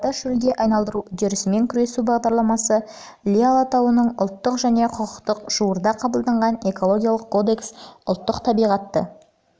жылдарда шөлге айналу үрдісімен күресу бағдарламасы іле-алатау ұлттық парк институционалдық және құқықтық жуырда қабылданған экологиялық кодекс ұлттық табиғатты